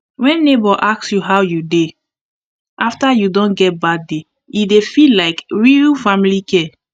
wen neighbour ask how you dey after you don get bad day e dey feel like real family care